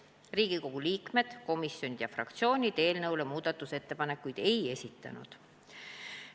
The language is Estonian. Riigikogu liikmed, komisjonid ja fraktsioonid eelnõu kohta muudatusettepanekuid ei esitanud.